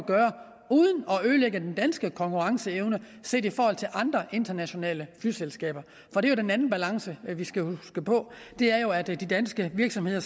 ødelægge den danske konkurrenceevne set i forhold til andre internationale flyselskaber for den anden balance vi skal huske på er jo at de danske virksomheder